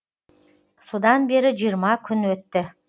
содан бері жиырма күн өтті